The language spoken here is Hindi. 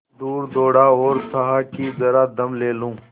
कुछ दूर दौड़ा और चाहा कि जरा दम ले लूँ